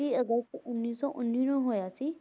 ਅਗਸਤ ਉੱਨੀ ਸੌ ਉੱਨੀ ਨੂੰ ਹੋਇਆ ਸੀ।